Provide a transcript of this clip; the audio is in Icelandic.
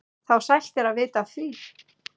þá sælt er að vita af því.